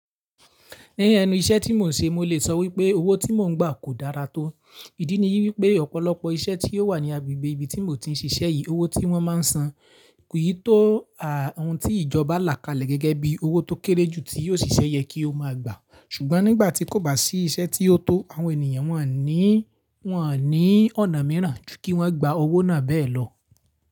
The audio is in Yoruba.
Ni ẹnu iṣẹ́ tí mo n ṣe, mo lè so wipe owo iṣẹ́ tí mo n gba kò dára to. Ìdí ni wípé ọ̀pọ̀lọpọ̀ iṣẹ́ tí ó wà ní agbègbè ibi tí mò ń ti ń ṣiṣẹ́ yìí, owó tí wọ́n má ń san kì í tó ohun tí ìjọba là kalẹ̀ gẹ́gẹ́ bí owó tó kéré jù tí òṣìṣẹ́ yẹ kí ó máa gbà. Ṣùgbọ́n nígbà tí kò bá sí iṣẹ́ tí ó tó, àwọn ènìyàn wọn ní, wọn o ní ọ̀nà mìíràn ju kí wọ́n gba owó náà bẹ́ẹ̀ lọ.